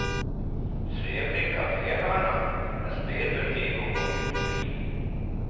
Trevlig kaféhörna, med spelbutik och konditori.